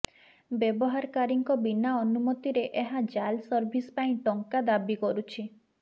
ବ୍ୟବହାରକାରୀଙ୍କ ବିନା ଅନୁମତିରେ ଏହା ଜାଲ ସର୍ଭିସ ପାଇଁ ଟଙ୍କା ଦାବୀ କରୁଛି